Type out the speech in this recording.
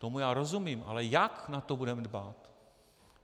Tomu já rozumím, ale jak na to budeme dbát?